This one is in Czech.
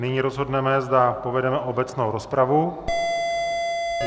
Nyní rozhodneme, zda povedeme obecnou rozpravu.